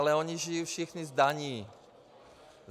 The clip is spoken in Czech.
Ale ony žijí všichni z daní.